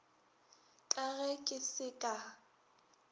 ka ge ke se ka